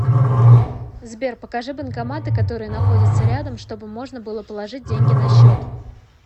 сбер покажи банкоматы которые находятся рядом чтобы можно было положить деньги на счет